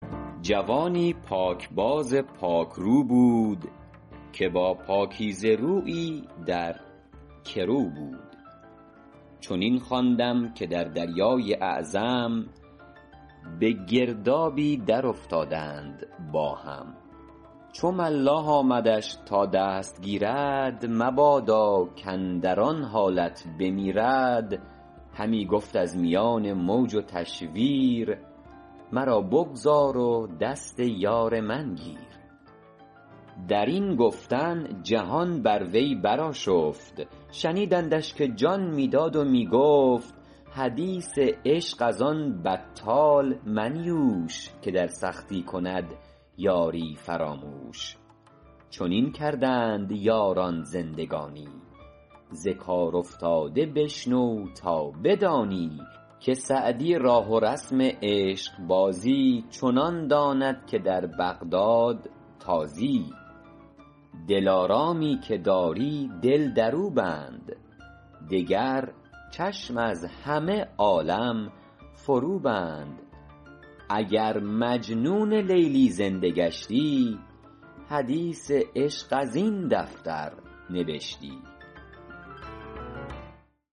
جوانی پاکباز و پاکرو بود که با پاکیزه رویی در گرو بود چنین خواندم که در دریای اعظم به گردابی درافتادند با هم چو ملاح آمدش تا دست گیرد مبادا کاندر آن حالت بمیرد همی گفت از میان موج و تشویر مرا بگذار و دست یار من گیر در این گفتن جهان بر وی برآشفت شنیدندش که جان می داد و می گفت حدیث عشق از آن بطال منیوش که در سختی کند یاری فراموش چنین کردند یاران زندگانی ز کار افتاده بشنو تا بدانی که سعدی راه و رسم عشقبازی چنان داند که در بغداد تازی دلارامی که داری دل در او بند دگر چشم از همه عالم فرو بند اگر مجنون لیلی زنده گشتی حدیث عشق از این دفتر نبشتی